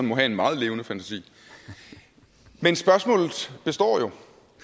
have en meget levende fantasi men spørgsmålet består jo